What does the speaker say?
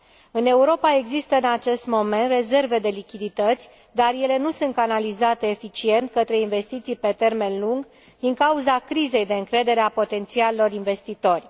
În Europa există în acest moment rezerve de lichidități, dar ele nu sunt canalizate eficient către investiții pe termen lung, din cauza crizei de încredere a potențialilor investitori.